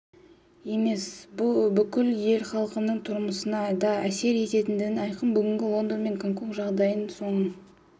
емес бүкіл ел халқының тұрмысына да әсер ететіндігі айқын бүгінгі лондон мен гонконг жағдайын соның